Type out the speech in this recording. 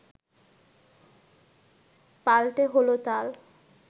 পাল্টে হলো তাল